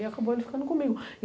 E acabou ele ficando comigo.